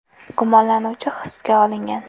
Gumonlanuvchi hibsga olingan.